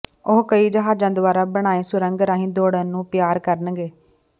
ਉਹ ਕਈ ਜਹਾਜ਼ਾਂ ਦੁਆਰਾ ਬਣਾਏ ਸੁਰੰਗ ਰਾਹੀਂ ਦੌੜਨ ਨੂੰ ਪਿਆਰ ਕਰਨਗੇ